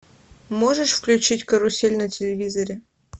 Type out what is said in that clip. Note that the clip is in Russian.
можешь включить карусель на телевизоре